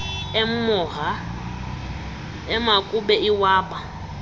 emoha emakube iwaba